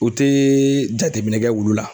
U tɛ jateminɛ kɛ wulu la.